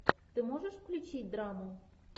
ты можешь включить драму